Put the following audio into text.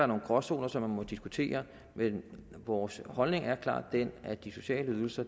nogle gråzoner som man må diskutere men vores holdning er klart den at de sociale ydelser